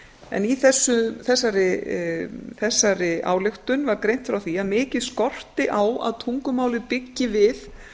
en í þessari ályktun var greint frá því að mikið skorti á að tungumálið byggi við